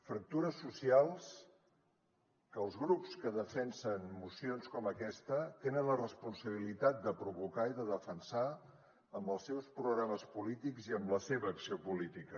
fractures socials que els grups que defensen mocions com aquesta tenen la responsabilitat de provocar i de defensar amb els seus programes polítics i amb la seva acció política